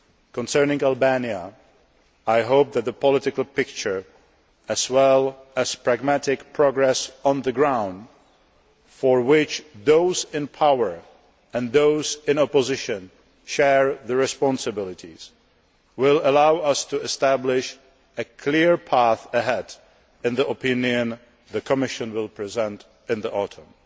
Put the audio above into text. Concerning Albania, I hope that the political picture, as well as pragmatic progress on the ground for which those in power and those in opposition share the responsibility will allow us to establish a clear path ahead in the opinion the Commission will present in the autumn.